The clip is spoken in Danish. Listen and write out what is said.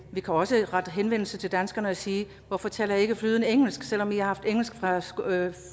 vi kan også rette henvendelse til danskerne og sige hvorfor taler i ikke flydende engelsk selv om i har haft engelsk fra